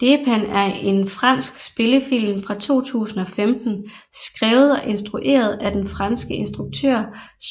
Dheepan er en fransk spillefilm fra 2015 skrevet og instrueret af den franske instruktør